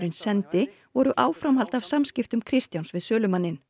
sendi voru áframhald af samskiptum Kristjáns við sölumanninn